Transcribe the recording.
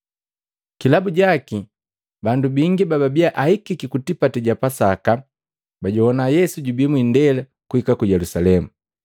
Kilabu jaki, bandu bingi bababiya ahikiki ku tipati ja Pasaka bajogwana Yesu jubi mwindela kuhika ku Yelusalemu.